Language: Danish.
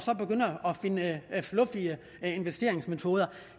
begynder at finde luftige investeringsmetoder